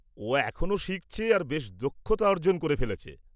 ও এখনও শিখছে আর বেশ দক্ষতা অর্জন করে ফেলেছে।